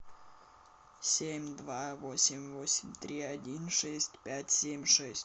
семь два восемь восемь три один шесть пять семь шесть